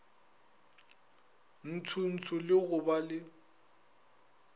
ntshotsho le go ba le